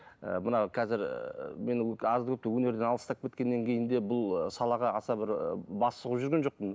ы мынау қазір менің азды көпті өнерден алыстап кеткеннен кейін де бұл салаға аса бір ы бас сұғып жүрген жоқпын